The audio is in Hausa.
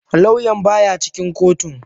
Lauyan baya cikin kotun.